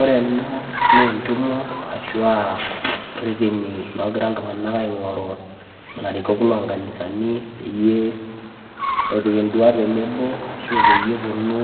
Ore ena nee entumo ashu aa reteni logia iltung'anak aing'oru larikok loo nkanisani peyie epik nduat tenebo ashu peyie eponu